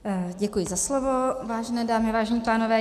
Děkuji za slovo, vážené dámy, vážení pánové.